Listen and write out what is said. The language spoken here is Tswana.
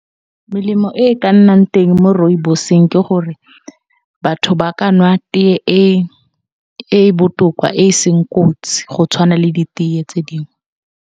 Melemo e ka nnang teng mo Rooibos ke gore batho ba ka nwa tee e e botoka e seng kotsi go tshwana le di tee tse dingwe.